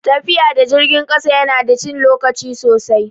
Tafiya da jirgin ƙasa ya na da cin lokaci sosai